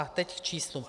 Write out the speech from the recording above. A teď k číslům.